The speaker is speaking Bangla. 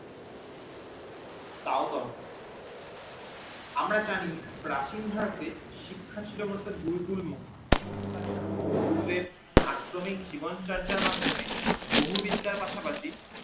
তাও কম আমরা জানি প্রাচিন ভারতে শিক্ষা ছিল বলতে গুরুকুল মুখী গুরুদেব আশ্রমে জীবন চর্চার মাধ্যমে বহু বিদ্যার পাশাপাশি